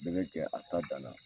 Bɛɛ bɛ jɛ a ta danna.